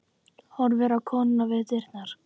Horfir á konuna við dyrnar.